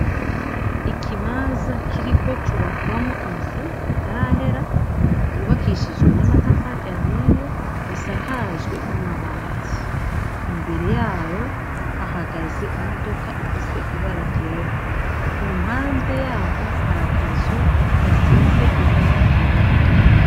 ikibaza kiriko cubakwamo inzu itarahera, yubakishijwe n'amatafari ahiye isakajwe n'amabati. Imbere yayo hahagaze imodoka ifise ibara ryera ku mpande yaho hari akazu gasize ibara ryera.